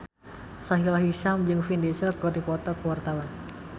Sahila Hisyam jeung Vin Diesel keur dipoto ku wartawan